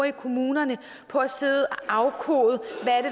i kommunerne på at sidde og afkode